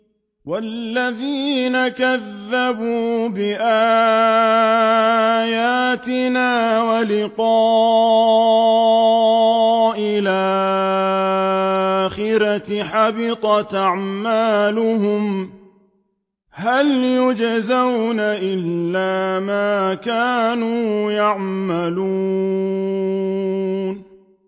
وَالَّذِينَ كَذَّبُوا بِآيَاتِنَا وَلِقَاءِ الْآخِرَةِ حَبِطَتْ أَعْمَالُهُمْ ۚ هَلْ يُجْزَوْنَ إِلَّا مَا كَانُوا يَعْمَلُونَ